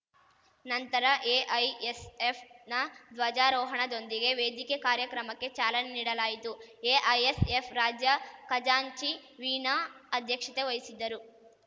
ನಂತರ ಎಐಎಸ್‌ಎಫ್‌ ನ ಧ್ವಜಾರೋಹಣದೊಂದಿಗೆ ವೇದಿಕೆ ಕಾರ್ಯಕ್ರಮಕ್ಕೆ ಚಾಲನೆ ನೀಡಲಾಯಿತು ಎಐಎಸ್‌ಎಫ್‌ ರಾಜ್ಯ ಖಜಾಂಚಿ ವೀಣಾ ಅಧ್ಯಕ್ಷತೆ ವಹಿಸಿದ್ದರು